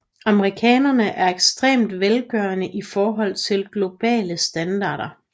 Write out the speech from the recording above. Amerikanere er ekstremt velgørende i forhold til globale standarder